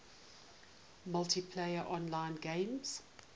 multiplayer online games